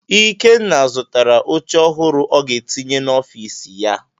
Ikenna zụtara oche ọhụrụ ọ ga-etinye n'ọfiisi ya.